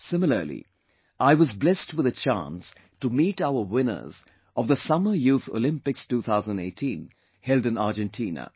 Similarly, I was blessed with a chance to meet our winners of the Summer youth Olympics 2018 held in Argentina